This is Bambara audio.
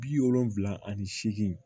Bi wolonfila ani seegi